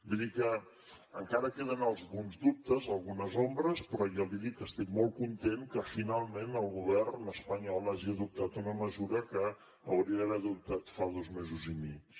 vull dir que encara queden alguns dubtes algunes ombres però jo li dic que estic molt content que finalment el govern espanyol hagi adoptat una mesura que hauria d’haver adoptat fa dos mesos i mig